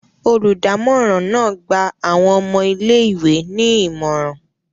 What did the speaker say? Oludamoran náà gba awọn ọmọ ìlé-ìwé ni imọran.